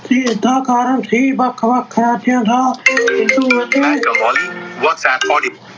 ਤੇ ਇਸਦਾ ਕਾਰਨ ਸੀ ਵੱਖ ਵੱਖ ਰਾਜਾਂ ਦਾ